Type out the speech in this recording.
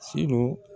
Si